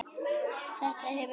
Þetta hefur verið hunsað.